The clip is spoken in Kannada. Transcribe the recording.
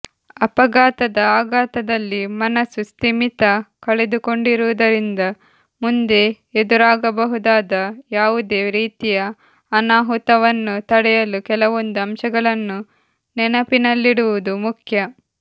ಅಪಘಾತದ ಆಘಾತದಲ್ಲಿ ಮನಸ್ಸು ಸ್ಥಿಮಿತ ಕಳೆದುಕೊಂಡಿರುವುದರಿಂದ ಮುಂದೆ ಎದುರಾಗಬಹುದಾದ ಯಾವುದೇ ರೀತಿಯ ಅನಾಹುತವನ್ನು ತಡೆಯಲು ಕೆಲವೊಂದು ಅಂಶಗಳನ್ನು ನೆನಪಿನಲ್ಲಿಡುವುದು ಮುಖ್ಯ